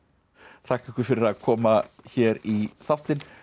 þakka ykkur fyrir að koma hér í þáttinn